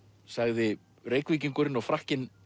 sagði Reykvíkingurinn og Frakkinn